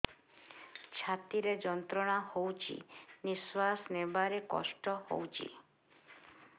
ଛାତି ରେ ଯନ୍ତ୍ରଣା ହଉଛି ନିଶ୍ୱାସ ନେବାରେ କଷ୍ଟ ହଉଛି